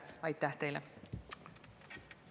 Aitäh teile!